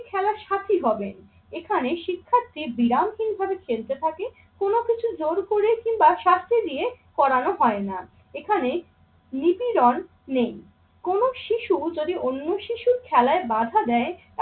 তিনি খেলার সাথী হবেন। এখানে শিক্ষার্থী বিরামহীন ভাবে খেলতে থাকে কোন কিছু জোর করে কিংবা শাস্তি দিয়ে করানো হয় না। এখানে নিপিরণ নেই। কোন শিশু যদি অন্য শিশুর খেলায় বাধা দেয়